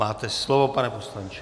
Máte slovo, pane poslanče.